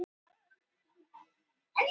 Fer að ráðleggingum Hafró